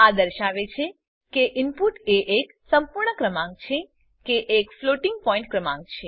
આ દર્શાવે છે કે ઈનપુટ એ એક સંપૂર્ણ ક્રમાંક છે કે એક ફ્લોટિંગ પોઈન્ટ ક્રમાંક છે